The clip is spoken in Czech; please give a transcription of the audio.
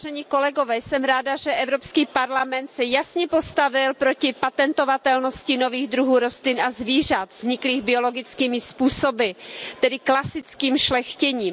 Pane předsedající, jsem ráda, že Evropský parlament se jasně postavil proti patentovatelnosti nových druhů rostlin a zvířat vzniklých biologickými způsoby, tedy klasickým šlechtěním.